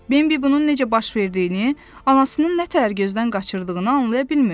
Bembi bunun necə baş verdiyini, anasının nətər gözdən qaçırdığını anlaya bilmirdi.